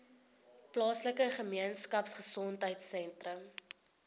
plaaslike gemeenskapgesondheid sentrum